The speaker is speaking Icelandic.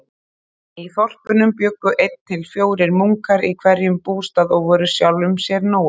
Í þorpunum bjuggu einn til fjórir munkar í hverjum bústað og voru sjálfum sér nógir.